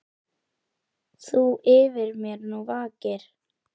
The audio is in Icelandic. Þú yfir mér nú vakir.